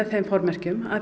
þeim formerkjum